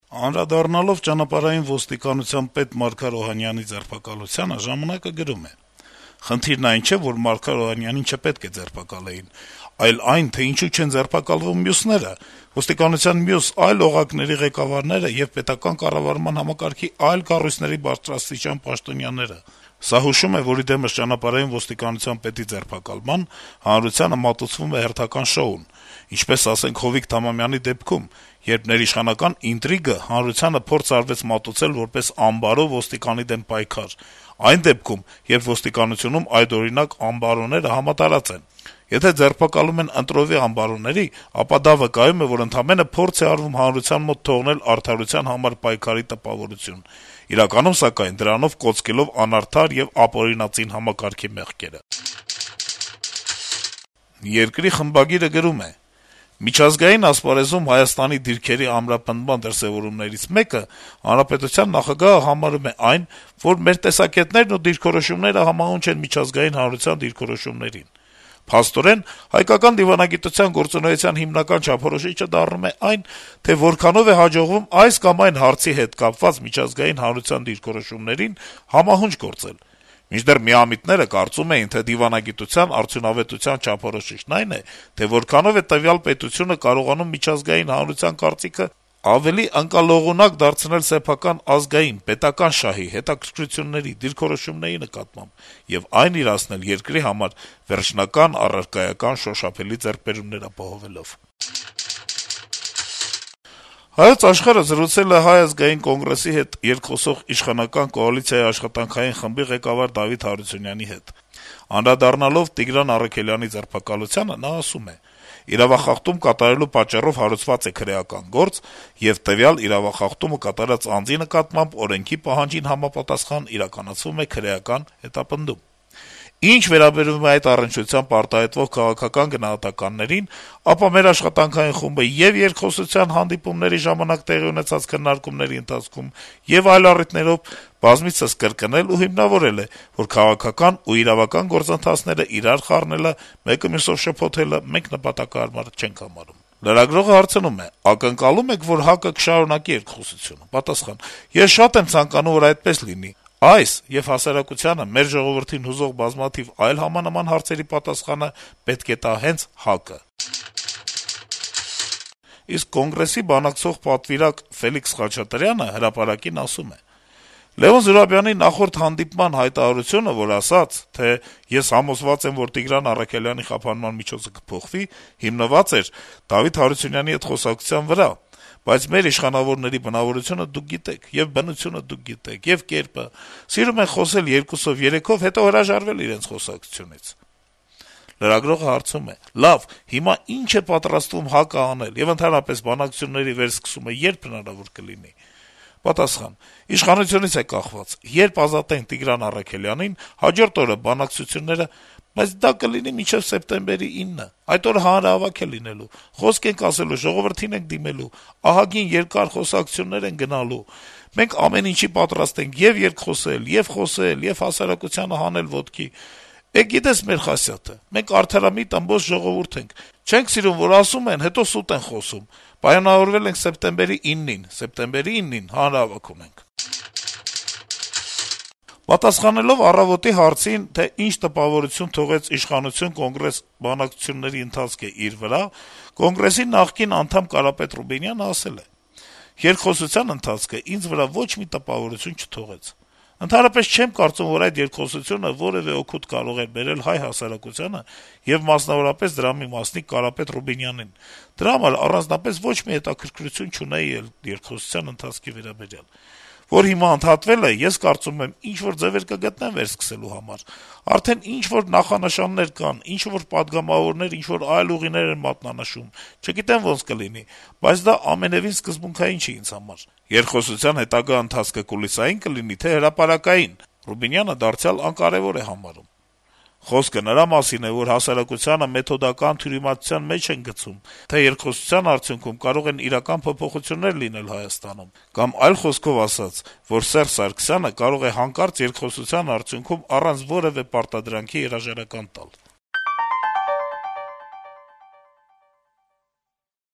Անդրադառնալով Հայաստանի ճանապարհային ոստիկանության պետ Մարգար Օհանյանի ձերբակալությանը` «Ժամանակ»-ը գրում է. - «Խնդիրն այն չէ, որ Մարգար Օհանյանին չպետք է ձերբակալեին, այլ այն, թե ինչու չեն ձերբակալվում մյուսները, ոստիկանության մյուս այլ օղակների ղեկավարները եւ պետական կառավարման համակարգի այլ կառույցների բարձրաստիճան պաշտոնյաները: Սա հուշում է, որ ի դեմս ՃՈ պետի ձերբակալման` հանրությանը մատուցվում է հերթական շոուն, ինչպես, ասենք, Հովիկ Թամամյանի դեպքում, երբ ներիշխանական ինտրիգը հանրությանը փորձ արվեց մատուցել որպես «անբարո» ոստիկանի դեմ պայքար, այն դեպքում, երբ ոստիկանությունում այդօրինակ «անբարոները» համատարած են: Եթե ձերբակալում են «ընտրովի» անբարոների, ապա դա վկայում է, որ ընդամենը փորձ է արվում հանրության մոտ թողնել արդարության համար պայքարի տպավորություն` իրականում, սակայն, դրանով կոծկելով անարդար եւ ապօրինածին համակարգի մեղքերը»: «Երկիր» թերթի խմբագիրը գրում է. - «Միջազգային ասպարեզում Հայաստանի դիրքերի ամրապնդման դրսեւորումներից մեկը Հանրապետության նախագահը համարում է այն, որ «մեր տեսակետներն ու դիրքորոշումները համահունչ են միջազգային հանրության դիրքորոշումներին…»: Փաստորեն հայկական դիվանագիտության գործունեության հիմնական չափորոշիչը դառնում է այն, թե որքանով է հաջողվում այս կամ այն հարցի հետ կապված միջազգային հանրության դիրքորոշումներին համահունչ գործել: Մինչդեռ միամիտները կարծում էին, թե դիվանագիտության արդյունավետության չափորոշիչն այն է, թե որքանով է տվյալ պետությունը կարողանում միջազգային հանրության կարծիքը ավելի ընկալողունակ դարձնել սեփական ազգային, պետական շահի, հետաքրքրությունների, դիրքորոշումների նկատմամբ եւ այն իրացնել` երկրի համար վերջնական, առարկայական, շոշափելի ձեռքբերումներ ապահովելով»: «Հայոց Աշխարհ»-ը զրուցել է Հայ ազգային կոնգրեսի հետ երկխոսող իշխանական կոալիցիայի աշխատանքային խմբի ղեկավար Դավիթ Հարությունյանի հետ: Անդրադառնալով Տիգրան Առաքելյանի ձերբակալությանը` նա ասում է. - «Իրավախախտում կատարելու պատճառով հարուցված է քրեական գործ, եւ տվյալ իրավախախտումը կատարած անձի նկատմամբ օրենքի պահանջին համապատասխան իրականացվում է քրեական հետապնդում: Ինչ վերաբերում է այդ առնչությամբ արտահայտվող քաղաքական գնահատականներին, ապա մեր աշխատանքային խումբը ե՛ւ երկխոսության հանդիպումների ժամանակ տեղի ունեցած քննարկումների ընթացքում, ե՛ւ այլ առիթներով բազմիցս կրկնել ու հիմնավորել է, որ քաղաքական ու իրավական գործընթացները իրար խառնելը, մեկը մյուսով շփոթելը մենք նպատակահարմար չենք համարում»: Լրագրողը հարցնում է. - «Ակնկալո՞ւմ եք, որ ՀԱԿ-ը կշարունակի երկխոսությունը»: Պատասխան. - «Ես շատ եմ ցանկանում, որ այդպես լինի: Այս եւ հասարակությանը, մեր ժողովրդին հուզող բազմաթիվ այլ համանման հարցերի պատասխանը պետք է տա հենց ՀԱԿ-ը»: Իսկ Կոնգրեսի բանակցող պատվիրակ Ֆելիքս Խաչատրյանը «Հրապարակ»-ին ասում է. - «Լեւոն Զուրաբյանի նախորդ հանդիպման հայտարարությունը, որ ասաց` թե ես համոզված եմ, որ Տիգրան Առաքելյանի խափանման միջոցը կփոխվի, հիմնված էր Դավիթ Հարությունյանի հետ խոսակցության վրա: Բայց մեր իշխանավորների բնավորությունը դուք գիտեք, եւ բնությունը դուք գիտեք, եւ կերպը: Սիրում են խոսել երկուսով, երեքով, հետո հրաժարվել իրենց խոսակցությունից»: Լրագրողը հարցնում է. - «Հիմա ի՞նչ է պատրաստվում ՀԱԿ-ը անել, եւ ընդհանրապես, բանակցությունների վերսկսումը ե՞րբ հնարավոր կլինի»: Պատասխան. - «Իշխանությունից է կախված. երբ ազատեն Տիգրան Առաքելյանին, հաջորդ օրը բանակցությունները… բայց դա կլինի մինչեւ սեպտեմբերի 9-ը: Այդ օրը հանրահավաք է լինելու, խոսք ենք ասելու, ժողովրդին ենք դիմելու, ահագին երկար խոսակցություններ են գնալու… Մենք ամեն ինչի պատրաստ ենք` ե'ւ երկխոսել, ե'ւ խոսել, ե'ւ հասարակությանը հանել ոտքի, գիտես մեր խասյաթը: Մենք արդարամիտ, ըմբոստ ժողովուրդ ենք, չենք սիրում, որ ասում են, հետո սուտ են խոսում: Պայմանավորվել ենք սեպտեմբերի 9-ին, սեպտեմբերի 9-ին հանրահավաք ունենք»: Պատասխանելով «Առավոտ»-ի հարցին, թե ինչ տպավորություն թողեց իշխանություն - Կոնգրես բանակցությունների ընթացքը իր վրա` ՀԱԿ-ի նախկին անդամ Կարապետ Ռուբինյանը ասել է. - «Երկխոսության ընթացքն ինձ վրա ոչ մի տպավորություն չթողեց: Ընդհանրապես, չեմ կարծում, որ այդ երկխոսությունը որեւէ օգուտ կարող է բերել հայ հասարակությանը եւ, մասնավորապես, դրա մի մասնիկ Կարապետ Ռուբինյանին: Դրա համար առանձնապես ոչ մի հետաքրքրություն չունեի էլ երկխոսության ընթացքի վերաբերյալ: Որ հիմա ընդհատվել է, ես կարծում եմ` ինչ-որ ձեւեր կգտնեն վերսկսելու համար: Արդեն ինչ-որ նախանշաններ կան, ինչ-որ պատգամավորներ ինչ-որ այլ ուղիներ են մատնանշում, չգիտեմ` ոնց կլինի, բայց դա ամենեւին սկզբունքային չէ ինձ համար»: «Երկխոսության հետագա ընթացքը կուլիսայի՞ն կլինի, թե՞ հրապարակային»: Ռուբինյանը դարձյալ անկարեւոր է համարում. - «Խոսքը նրա մասին է, որ հասարակությանը մեթոդական թյուրիմացության մեջ են գցում, թե երկխոսության արդյունքում կարող են իրական փոփոխություններ լինել Հայաստանում, կամ այլ խոսքով ասած` որ Սերժ Սարգսյանը կարող է երկխոսության արդյունքում, առանց որեւէ պարտադրանքի, հրաժարական տալ»: